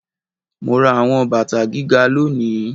Mo ra àwọn bàtà gíga lónìí